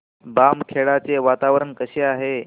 बामखेडा चे वातावरण कसे आहे